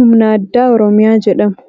Humna addaa Oromiyaa jedhamu.